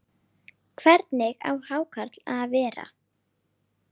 Hvernig á hákarl að vera?